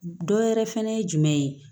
Dɔ wɛrɛ fɛnɛ ye jumɛn ye